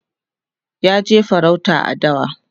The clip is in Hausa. ya je farauta a dawa